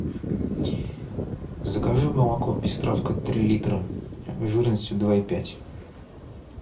закажи молоко пестравка три литра жирностью два и пять